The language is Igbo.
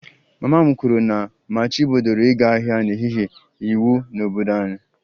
Mama m kwuru na a machibidoro ịga ahịa n'ehihie iwu n'obodo anyị